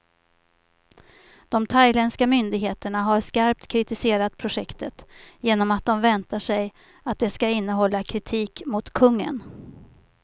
De thailändska myndigheterna har skarpt kritiserat projektet, genom att de väntar sig att det ska innehålla kritik mot kungen.